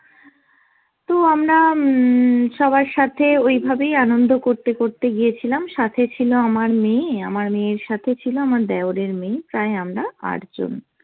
তো আমরা উম সবার সাথে ওইভাবেই আনন্দ করতে করতে গিয়েছিলাম, সাথে ছিল আমার মেয়ে, আমার মেয়ের সাথে ছিল আমার দেওরের মেয়ে, প্রায় আমরা আট জন।